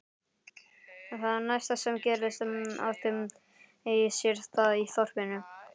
Það næsta sem gerðist átti sér stað í þorpinu.